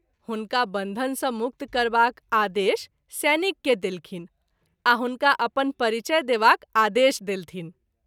हुनका बन्धन सँ मुक्त करबाक आदेश सैनिक के देलखिन आ हुनका अपन परिचय देवाक आदेश देलथिन।